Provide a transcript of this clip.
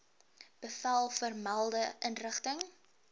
bevel vermelde inrigting